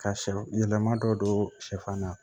Ka sɛ yɛlɛma dɔ don sɛfan na